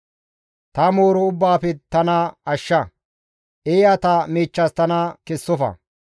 Ta mooro ubbaafe tana ashsha; eeyata miichchas tana kessofa.